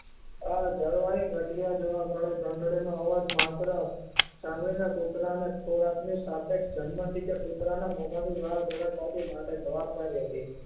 આ ઘંટડી નો અવાજ માત્ર સાંભળી ને કુતરા ની ખોરાક ની સાથે કે કુતરા ની માથે માટે જવાબદારી હતી